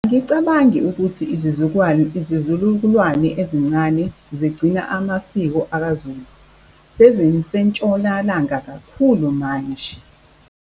Angicabangi ukuthi izizululukwane ezincane zigcina amasiko akaZulu, seziseNtshonalanga kakhulu manje.